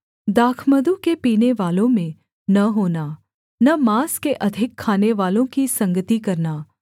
दाखमधु के पीनेवालों में न होना न माँस के अधिक खानेवालों की संगति करना